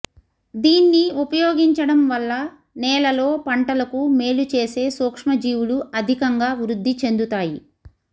దీన్ని ఉపయోగించడం వల్ల నేలలో పంటలకు మేలుచేసే సూక్ష్మజీవులు అధికంగా వృద్ధి చెందుతాయి